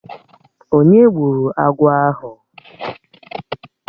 Onye gburu agwọ̀ ahụ?